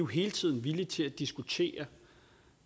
hele tiden villige til at diskutere